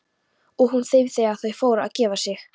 Og hún þeim þegar þau fóru að gefa sig.